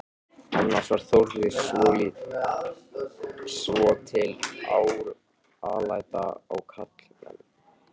Annars var Þórður svotil alæta á karlmenn.